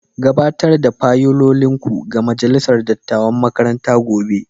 Gabatar da fayilolinku ga majalisar dattawan makaranta gobe.